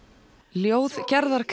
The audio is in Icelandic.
ljóð Gerðar